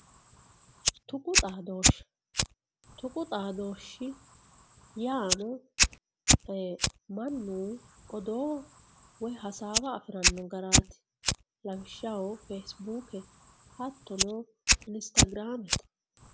Xuqu xadoshe xuqu xadoshi yaanao manchi betira manu oddo woy hasawa afirano garati lawishaho fesibuke hatono inissagramete